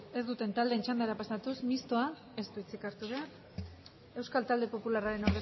ez duten taldeen txandara pasatuz mistoak ez du hitzik hartu behar euskal talde popularraren